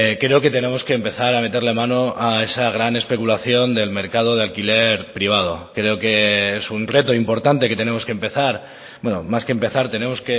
creo que tenemos que empezar a meterle mano a esa gran especulación del mercado de alquiler privado creo que es un reto importante que tenemos que empezar más que empezar tenemos